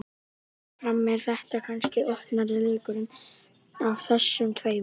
Fyrirfram er þetta kannski opnari leikurinn af þessum tveimur.